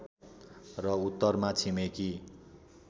र उत्तरमा छिमेकी